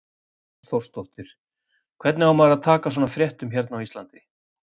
Hrund Þórsdóttir: Hvernig á maður að taka svona fréttum hérna á Íslandi?